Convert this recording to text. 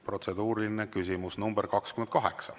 Protseduuriline küsimus nr 28.